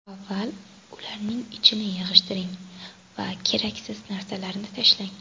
Avval ularning ichini yig‘ishtiring va keraksiz narsalarni tashlang.